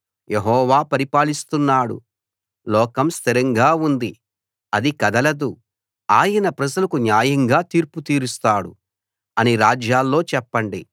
యెహోవా పరిపాలిస్తున్నాడు లోకం స్థిరంగా ఉంది అది కదలదు ఆయన ప్రజలకు న్యాయంగా తీర్పు తీరుస్తాడు అని రాజ్యాల్లో చెప్పండి